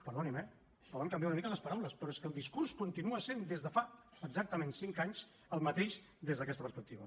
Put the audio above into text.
perdoni’m eh poden canviar una mica les paraules però és que el discurs continua sent des de fa exactament cinc anys el mateix des d’aquesta perspectiva